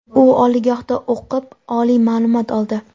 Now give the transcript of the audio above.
u oliygohda o‘qib oliy ma’lumot oldi.